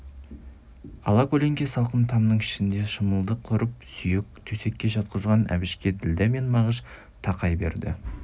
алакөлеңке салқын тамның ішіне шымылдық құрып сүйек төсекке жатқызған әбішке ділдә мен мағыш тақай берді